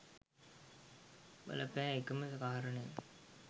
බල පෑ එකම කාරණය